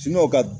ka